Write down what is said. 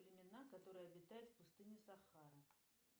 племена которые обитают в пустыне сахара